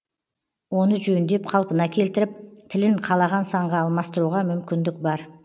оны жөндеп қалпына келтіріп тілін қалаған санға алмастыруға мүмкіндік бар